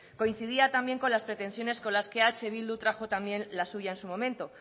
coincidía también con las pretensiones con las que eh bildu trajo también la suya en su momento